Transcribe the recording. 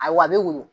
Ayiwa a bɛ woyo